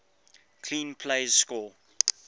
clean plays score